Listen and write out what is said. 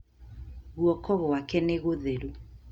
Guoko gwake nĩ gũtheru